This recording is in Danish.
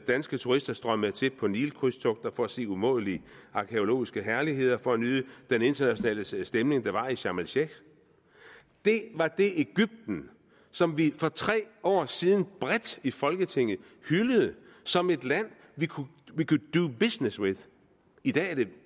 danske turister strømmede til på nilkrydstogter for at se umådelige arkæologiske herligheder og for at nyde den internationale stemning der var i sharm el sheikh det var det egypten som vi for tre år siden bredt i folketinget hyldede som et land we could do business with i dag er det